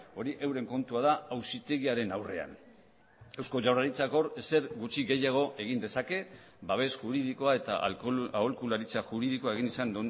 hori euren kontua da auzitegiaren aurrean eusko jaurlaritzak hor ezer gutxi gehiago egin dezake babes juridikoa eta aholkularitza juridikoa egin izan